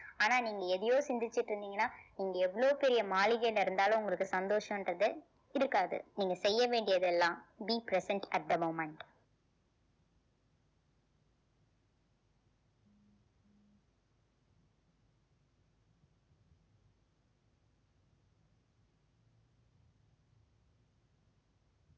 ஆனா நீங்க எதையோ சிந்திச்சுட்டு இருந்தீங்கன்னா நீங்க எவ்வளவு பெரிய மாளிகையில இருந்தாலும் உங்களுக்கு சந்தோஷம்ன்றது இருக்காது நீங்க செய்ய வேண்டியது எல்லாம் be present at the moment